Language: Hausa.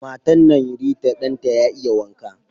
Matan nan Rita Dan ta ya iya waka.